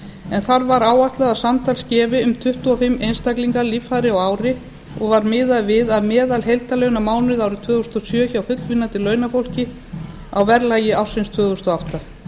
en þar var áætlað að samtals gefi um tuttugu og fimm einstaklingar líffæri á ári og var miðað við meðalheildarlaun á mánuði árið tvö þúsund og sjö hjá fullvinnandi launafólki á verðlagi ársins tvö þúsund og átta